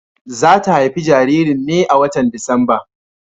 Za ta haifi jaririn ne a watan Disamba.